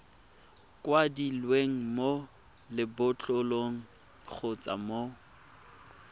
kwadilweng mo lebotlolong kgotsa mo